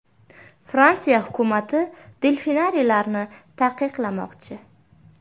Fransiya hukumati delfinariylarni taqiqlamoqchi.